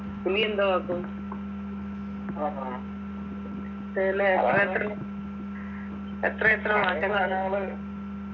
ഇനിയെന്തുവാ ആക്കും തന്നെ എത്രയെത്ര എത്രയെത്ര മാറ്റങ്ങളാ